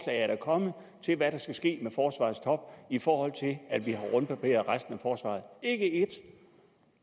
er der kommet til hvad der skal ske med forsvarets top i forhold til at vi har rundbarberet resten af forsvaret ikke ét